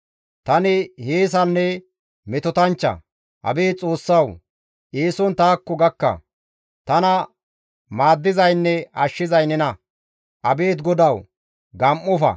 Tani hiyeesanne metotanchcha; abeet Xoossawu! Eeson taakko gakka. Tana maaddizaynne ashshizay nena; abeet GODAWU! gam7ofa.